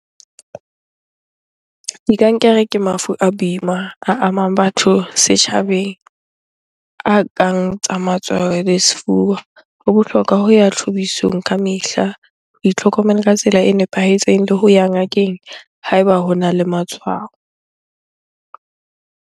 Dikankere ke mafu a boima a amang batho setjhabeng, a kang tsa matsoho le sefuba. Ho bohlokwa ho ya ka mehla. Ho itlhokomela ka tsela e nepahetseng le ho ya ngakeng ha eba hona le matshwao.